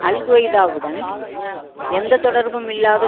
அல் குவைதாவுடன் எந்த தொடர்பும் இல்லாத